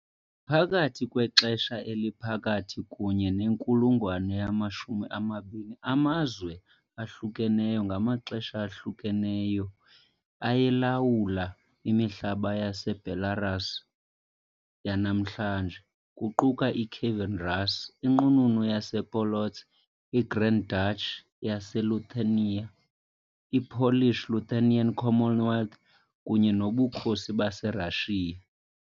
Phakathi kwexesha eliphakathi kunye nenkulungwane yama-20, amazwe ahlukeneyo ngamaxesha ahlukeneyo ayelawula imihlaba yeBelarus yanamhlanje, kuquka iKievan Rus ', iNqununu yasePolotsk, iGrand Duchy yaseLithuania, i- Polish-Lithuanian Commonwealth, kunye noBukhosi baseRashiya .